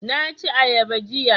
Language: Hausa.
Na ci ayaba jiya